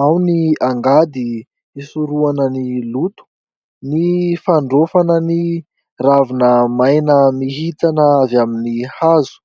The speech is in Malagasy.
Ao ny angady hisoroana ny loto, ny fandrofana ny ravina maina mihintsana avy amin'ny hazo.